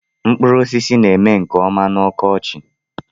Mkpụrụosisi na-eme nke ọma n'ọkọchị